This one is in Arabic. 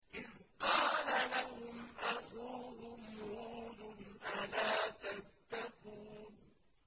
إِذْ قَالَ لَهُمْ أَخُوهُمْ هُودٌ أَلَا تَتَّقُونَ